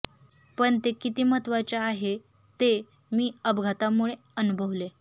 पण ते किती महत्त्वाचे आहे ते मी अपघातामुळे अनुभवले